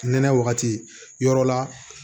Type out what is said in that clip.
Nɛnɛ wagati yɔrɔ la